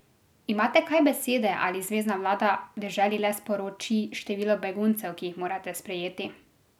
Imate kaj besede ali zvezna vlada deželi le sporoči število beguncev, ki jih morate sprejeti?